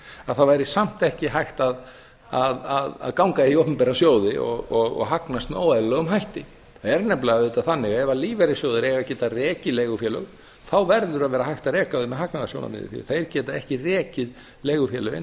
að það væri samt ekki hægt að ganga í opinbera sjóði og hagnast með óeðlilegum hætti það er nefnilega auðvitað þannig að ef lífeyrissjóðir eiga að geta rekið leigufélög þá verður að vera hægt að reka þau með hagnaðarsjónarmiði því að þeir geta ekki rekið leigufélögin